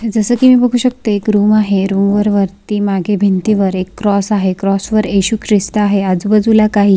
जस की मी बघू शकते एक रूम आहे रूम वरती मागे भिंती वर एक क्रॉस आहे क्रॉस वर येसु ख्रिस्त आहे आजूबाजूला काही.